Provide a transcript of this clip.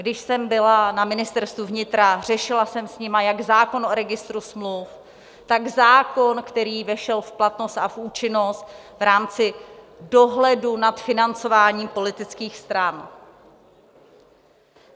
Když jsem byla na Ministerstvu vnitra, řešila jsem s nimi jak zákon o registru smluv, tak zákon, který vešel v platnost a v účinnost v rámci dohledu nad financováním politických stran.